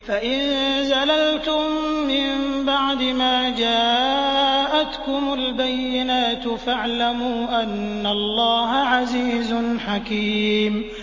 فَإِن زَلَلْتُم مِّن بَعْدِ مَا جَاءَتْكُمُ الْبَيِّنَاتُ فَاعْلَمُوا أَنَّ اللَّهَ عَزِيزٌ حَكِيمٌ